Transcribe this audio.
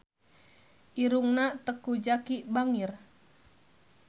Irungna Teuku Zacky bangir